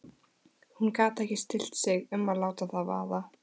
Hún gat ekki stillt sig um að láta það vaða.